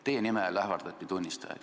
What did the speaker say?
Teie nimel ähvardati tunnistajaid.